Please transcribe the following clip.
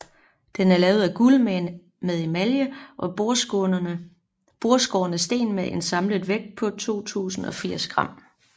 Den er lavet af guld med emalje og bordskårne sten med en samlet vægt på 2080 g